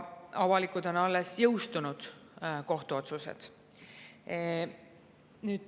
Avalikud on alles jõustunud kohtuotsused.